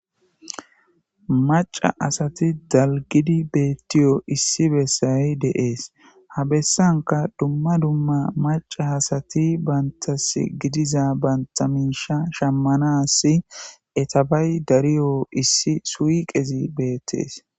Maca asati dalgidi beettiyo issi bessay deees ha bessanka dumma dumma maca asati bantas gidiza banta minsha shammanassi etabay dariyo issi suyi qezi beettees.